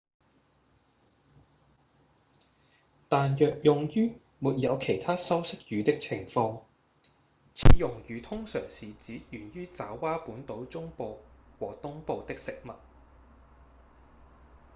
但若用於沒有其他修飾語的情況此用語通常是指源於爪哇本島中部和東部的食物